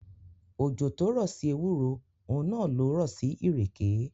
Òjò tó rọ̀ sí ewúro, òun náà lo rọ̀ sí ìrèké.